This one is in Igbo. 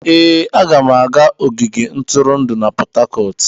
Ee, aga m aga ogige ntụrụndụ na Port Harcourt.